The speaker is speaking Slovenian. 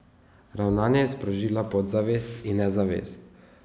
Ravnanje je sprožila podzavest, in ne zavest.